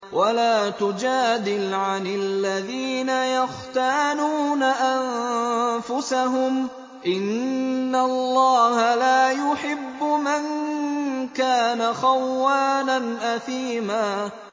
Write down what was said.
وَلَا تُجَادِلْ عَنِ الَّذِينَ يَخْتَانُونَ أَنفُسَهُمْ ۚ إِنَّ اللَّهَ لَا يُحِبُّ مَن كَانَ خَوَّانًا أَثِيمًا